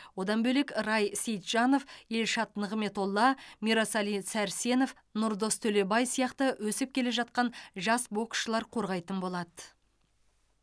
одан бөлек рай сейтжанов елшат нығметолла мирасали сәрсенов нұрдос төлебай сияқты өсіп келе жатқан жас боксшылар қорғайтын болады